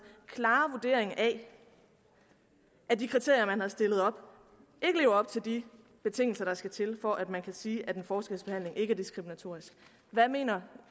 klare vurdering af at de kriterier man har stillet op ikke lever op til de betingelser der skal til for at man kan sige at en forskelsbehandling ikke er diskriminatorisk hvad mener